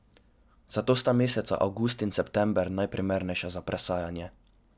Zato sta meseca avgust in september najprimernejša za presajanje.